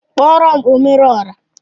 Kpọrọm omere ọra!